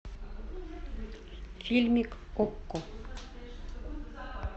фильмик окко